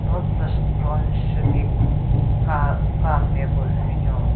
Ro tsüshes ground shye ki ka ka nme ku hyu nyon.